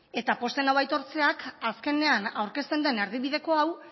eta pozten nau aitortzeak azkenean aurkezten den erdibideko hau